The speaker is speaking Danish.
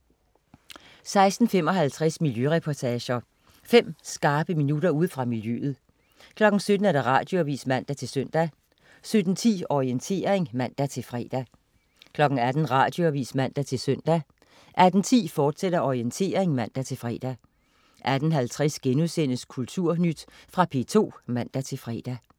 16.55 Miljøreportager. Fem skarpe minutter ude fra miljøet 17.00 Radioavis (man-søn) 17.10 Orientering (man-fre) 18.00 Radioavis (man-søn) 18.10 Orientering, fortsat (man-fre) 18.50 Kulturnyt.* Fra P2 (man-fre)